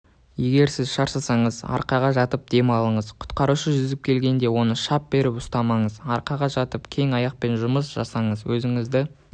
егер сіз шаршасаңыз арқаға жатып дем алыңыз құтқарушы жүзіп жеткенде оны шап беріп ұстамаңыз арқаға жатып және аяқпен жұмыс жасаңыз өзіңізді